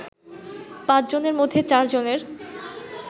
পাঁচজনের মধ্যে চারজনের